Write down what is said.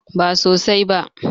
Ba sosai ba.